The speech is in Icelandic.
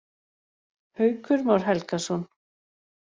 Haukur Már Helgason.